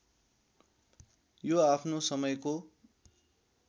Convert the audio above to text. यो आफ्नो समयको